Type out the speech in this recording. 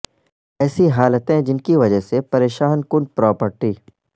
ایسی حالتیں جن کی وجہ سے پریشان کن پراپرٹی